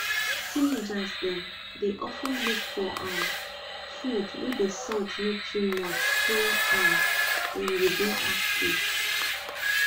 teenagers dem dey of ten look for um food wey the salt no too much so um dem go dey active